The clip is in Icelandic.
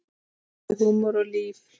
Gleði, húmor og líf.